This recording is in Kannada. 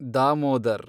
ದಾಮೋದರ್